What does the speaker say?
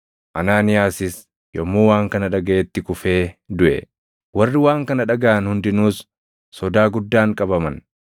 Anaaniyaasis yommuu waan kana dhagaʼetti kufee duʼe. Warri waan kana dhagaʼan hundinuus sodaa guddaan qabaman.